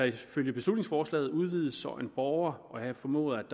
ifølge beslutningsforslaget udvides så også en borger og her formoder